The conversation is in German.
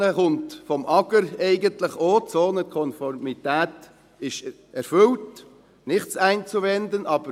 Danach kommt vom Amt für Gemeinden und Raumordnung (AGR), dass die Zonenkonformität erfüllt und «nichts einzuwenden» sei.